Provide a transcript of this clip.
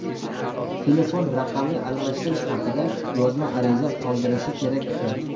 telefon raqamni almashtirish haqida yozma ariza qoldirishi kerak ekan.